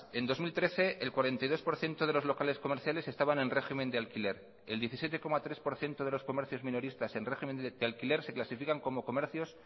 en dos mil trece el cuarenta y dos por ciento de los locales comerciales estaban en régimen de alquiler el diecisiete coma tres por ciento de los comercios minoristas en régimen de alquiler se clasifican como comercios